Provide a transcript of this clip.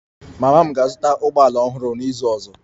Mama m ga-azụta ụgbọ ala ọhụrụ n'izu ọzọ